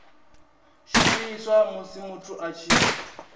shumiswa musi muthu a tshi